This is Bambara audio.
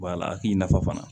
a k'i nafa fana